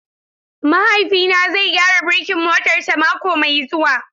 Mahaifina zai gyara birkin motarsa mako mai zuwa.